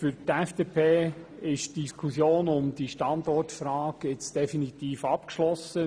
Für die FDP ist die Frage zum Standort jetzt definitiv abgeschlossen.